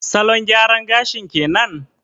Salon gyaran gashin kenan?